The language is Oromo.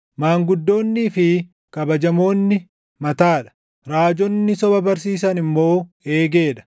maanguddoonnii fi kabajamoonni mataa dha; raajonni soba barsiisan immoo eegee dha.